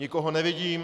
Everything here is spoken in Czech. Nikoho nevidím.